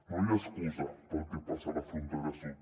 no hi ha excusa pel que passa a la frontera sud